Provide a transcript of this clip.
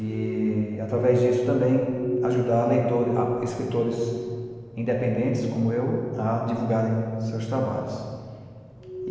E, através disso, também ajudar escritores independentes, como eu, a divulgarem seus trabalhos.